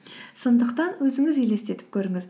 сондықтан өзіңіз елестетіп көріңіз